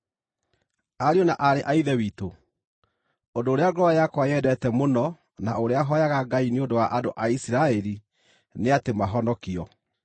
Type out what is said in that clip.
Ariũ na aarĩ a Ithe witũ, ũndũ ũrĩa ngoro yakwa yendete mũno na ũrĩa hooyaga Ngai nĩ ũndũ wa andũ a Isiraeli nĩ atĩ mahonokio.